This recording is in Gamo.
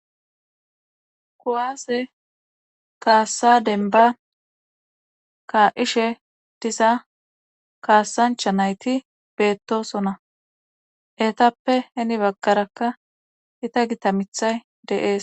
kuwaase kaassa denba ka7ishe diza kaassancha nayti beettosona etappe heni baggarakka ita gitamithay deees